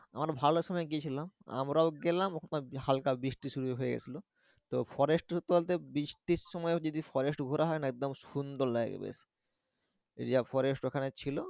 আমরা ভালো সময়ে গিয়েছিলাম আমরাও গেলাম ওখানে হালকা বৃষ্টি শুরু হয়ে গেছিলো তো forest এর তো বলতে বৃষ্টির সময়ও যদি forest ঘোরা হয় একদম সুন্দর লাগে বেশ যা forest ওখানে ছিলো।